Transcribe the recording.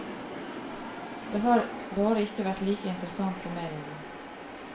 Det har bare ikke vært like interessant for mediene.